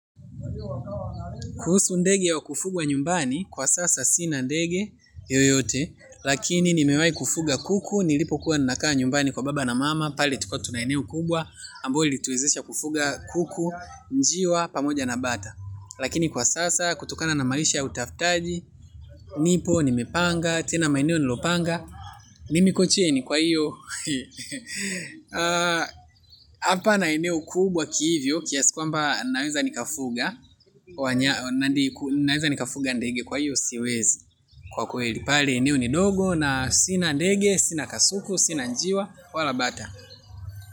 Kuhusu ndege wa kufugwa nyumbani kwa sasa sina ndege Yoyote. Lakini nimewahi kufuga kuku. Nilipokuwa ninakaa nyumbani kwa baba na mama. Pale tulikuwa tu maeneo kubwa ambao ilituwezesha kufuga kuku njiwa pamoja na bata. Lakini kwa sasa kutokana na maisha ya utaftaji. Nipo nimepanga. Tena maeneo nilopanga mimi niko chini kwa hiyo. Hapana eneo kubwa kihivyo kiasi kwamba naeza nikafuga. Naeza nikafuga ndege kwa hiyo siwezi. Kwa kweli. Pale eneo ni dogo na sina ndege, sina kasuku, sina njiwa wala bata.